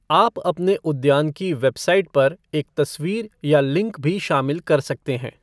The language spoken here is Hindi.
आप अपने उद्यान की वेबसाइट पर एक तस्वीर या लिंक भी शामिल कर सकते हैं।